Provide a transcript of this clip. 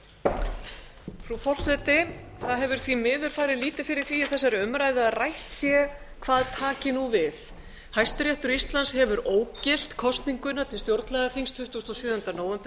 frú forseti það hefur því miður farið lítið fyrir því í þessari umræðu að rætt sé hvað taki nú við hæstiréttur íslands eru ógilt kosninguna til stjórnlagaþing tuttugasta og sjöunda nóvember